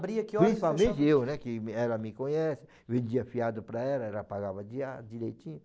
horas que o senhor. Principalmente eu né, que ela me conhece, vendia fiado para ela, ela pagava dia direitinho.